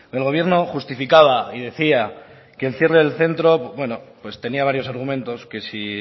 el gobierno justificaba y decía que el cierre del centro bueno pues tenía varios argumentos que si